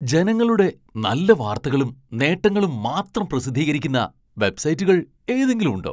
ജനങ്ങളുടെ നല്ല വാർത്തകളും, നേട്ടങ്ങളും മാത്രം പ്രസിദ്ധീകരിക്കുന്ന വെബ്സൈറ്റുകൾ ഏതെങ്കിലും ഉണ്ടോ?